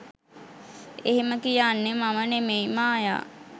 එහෙම කියන්නෙ මම නෙමෙයි ‘මායා’.